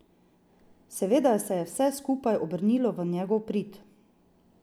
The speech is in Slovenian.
Seveda se je vse skupaj obrnilo v njegov prid.